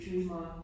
Dream on